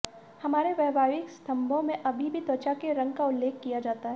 हमारे वैवाहिक स्तंभों में अभी भी त्वचा के रंग का उल्लेख किया जाता है